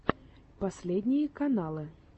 последние каналы